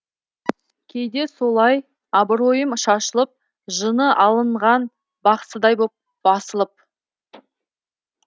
кейде солай абыройым шашылып жыны алынған бақсыдай боп басылып